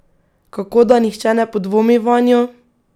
Kako, da nihče ne podvomi vanjo?